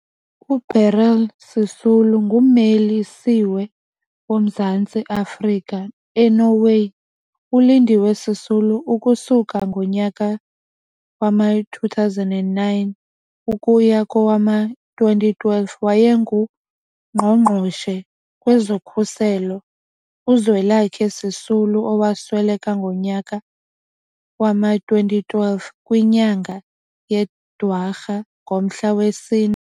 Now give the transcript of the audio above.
uBeryl Sisulu ngummeli-siwe woMzantsi Afrika eNorway, uLindiwe Sisulu ukusuka ngonyaka wama-2009 ukuya kowama-2012 wayengu mgqongqoshe kwezokhuselo, uZwelakhe Sisulu, owasweleka ngonyaka wama-2012 kwinyanga yeDwarha ngomhla wesine.